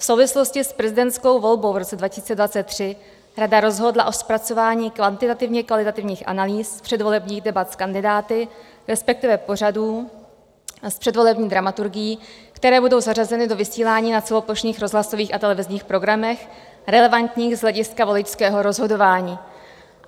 V souvislosti s prezidentskou volbou v roce 2023 rada rozhodla o zpracování kvantitativně kvalitativních analýz předvolebních debat s kandidáty, respektive pořadů s předvolební dramaturgií, které budou zařazeny do vysílání na celoplošných rozhlasových a televizních programech relevantních z hlediska voličského rozhodování."